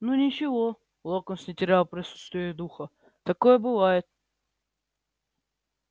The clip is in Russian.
ну ничего локонс не терял присутствия духа такое бывает